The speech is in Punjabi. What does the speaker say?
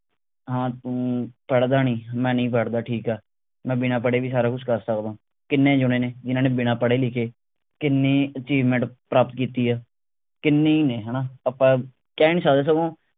ਹਾਂ ਤੂੰ ਪੜ੍ਹਦਾ ਨਹੀਂ ਮੈਂ ਨਹੀਂ ਪੜ੍ਹਦਾ ਠੀਕ ਆ ਮੈਂ ਬਿਨਾ ਪੜ੍ਹੇ ਵੀ ਕੁਸ਼ ਕਰ ਸਕਦਾ ਕਿੰਨੇ ਜਣੇ ਨੇ ਜਿੰਨਾ ਨੇ ਬਿਨਾਂ ਪੜੇ ਲਿਖੇ ਕਿੰਨੀ achievement ਪ੍ਰਾਪਤ ਕੀਤੀ ਆ ਕਿੰਨੇ ਹੀ ਨੇ ਹਣਾ ਆਪਾਂ ਕਹਿ ਨਹੀਂ ਸਕਦੇ ਸਗੋਂ